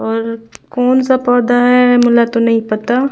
और कौन-सा पौधा है मोला तो नई पता--